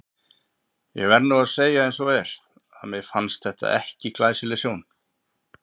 Ég verð nú að segja eins og er, að mér fannst þetta ekki glæsileg sjón.